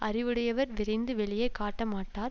அறிவுடையவர் விரைந்து வெளியே காட்டமாட்டார்